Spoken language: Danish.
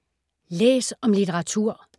Læs om litteratur